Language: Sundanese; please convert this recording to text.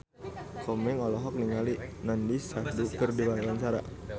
Komeng olohok ningali Nandish Sandhu keur diwawancara